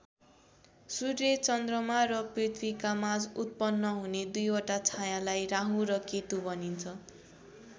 सूर्य चन्द्रमा र पृथ्वीका माझ उत्पन्न हुने दुईवटा छाँयालाई राहु र केतु भनिन्छ।